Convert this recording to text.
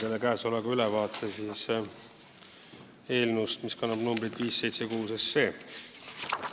Annan teile ülevaate eelnõust, mis kannab numbrit 576.